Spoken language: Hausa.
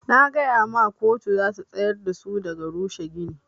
Na gaya ma koto zata tsayar dasu daga rushe gini.